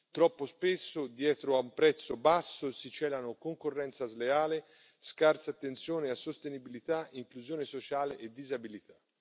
Troppo spesso dietro a un prezzo basso si celano concorrenza sleale, scarsa attenzione a sostenibilità, inclusione sociale e disabilità.